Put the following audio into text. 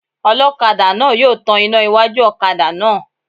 Ọlọ́kadà náà yóò tan iná iwájú ọ̀kadà náà